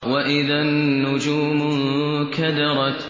وَإِذَا النُّجُومُ انكَدَرَتْ